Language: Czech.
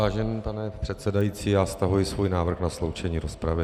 Vážený pane předsedající, já stahuji svůj návrh na sloučení rozpravy.